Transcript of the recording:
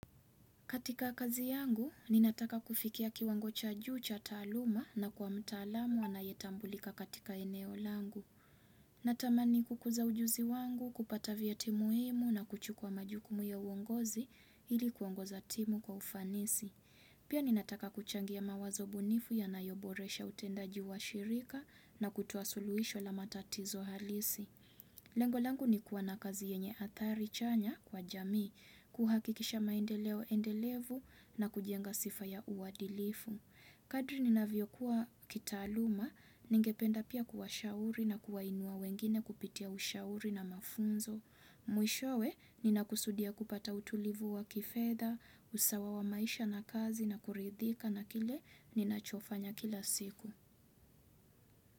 Katika kazi yangu, ninataka kufikia kiwango cha juu cha taaluma na kuwa mtaalamu anayetambulika katika eneo langu. Natamani kukuza ujuzi wangu, kupata vyeti muhimu na kuchukua majukumu ya uongozi ili kuongoza timu kwa ufanisi. Pia ninataka kuchangia mawazo bunifu yanayoboresha utendaji wa shirika na kutoa suluisho la matatizo halisi. Lengo langu ni kuwa na kazi yenye athari chanya kwa jamii, kuhakikisha maendeleo endelevu na kujenga sifa ya uadilifu. Kadri nina viyokuwa kitaaluma, ningependa pia kuwashauri na kuwainua wengine kupitia ushauri na mafunzo. Mwishowe, ninakusudia kupata utulivu wa kifedha, usawa wa maisha na kazi na kuridhika na kile ninachofanya kila siku.